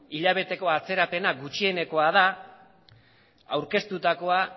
hilabeteko atzerapena gutxieneko da aurkeztutakoa